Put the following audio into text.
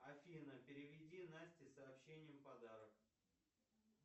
афина переведи насте сообщением подарок